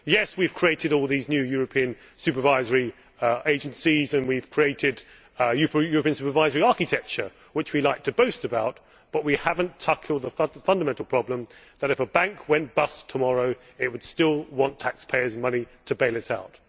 Yes, we have created all these new European supervisory agencies and we have created European supervisory architecture, which we like to boast about, but we have not tackled the fundamental problem that if a bank went bust tomorrow it would still want taxpayers' money to bail it out.